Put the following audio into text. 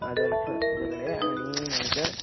आणि नाहीतर